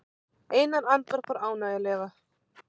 Einar andvarpar ánægjulega.